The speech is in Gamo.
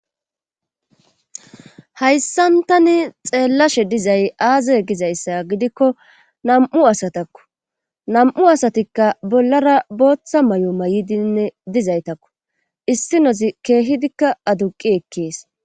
Hayssantani xeellashe dizay aaza gizayssa gidikko namu asatakku nam7u asatikka bollara booththa may7o may7idinne dizaytakku issi nozi keehidikka aduqi ekkees